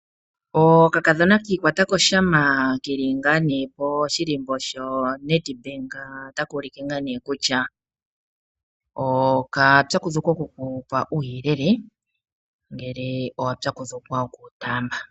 Okakadhona ki ikwata poshama ke li poshihako shoNedbank otaka ulike kutya okapyakudhukwa oku ku pa uuyelele ngele owa pyakudhukwa oku wu taamba.